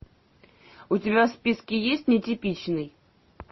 у тебя в списке есть нетипичный